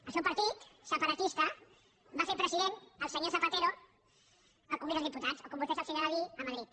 el seu partit separatista va fer president el senyor zapatero en el congrés dels diputats o com a vostès els agrada dir a madrid